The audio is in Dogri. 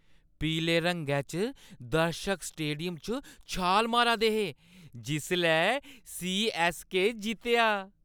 पीले रंगै च दर्शक स्टेडियम च छाल मारा दे हे जिसलै सीऐस्सके जित्तेआ।